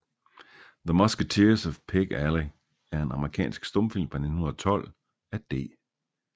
The Musketeers of Pig Alley er en amerikansk stumfilm fra 1912 af D